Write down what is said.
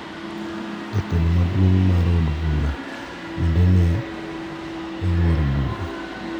Jatelo maduong` mar od bura bende ne oyuoro budho.